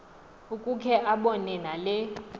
ukukhe abone nale